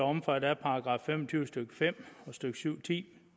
omfattet af § fem og tyve stykke fem og stykke syv ti